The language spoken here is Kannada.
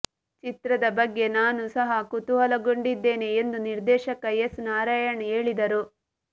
ಚಿತ್ರದ ಬಗ್ಗೆ ನಾನೂ ಸಹ ಕುತೂಹಲಗೊಂಡಿದ್ದೇನೆ ಎಂದು ನಿರ್ದೇಶಕ ಎಸ್ ನಾರಾಯಣ್ ಹೇಳಿದರು